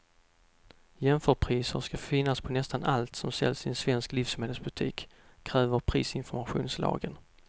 Jämförpriser ska finnas på nästan allt som säljs i en svensk livsmedelsbutik, kräver prisinformationslagen.